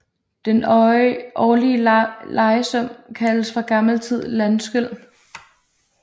Den årlige lejesum kaldes fra gammel tid landskyld